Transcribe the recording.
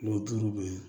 O tulu bɛ yen